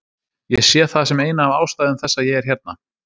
Ég sé það sem eina af ástæðum þess að ég er hérna.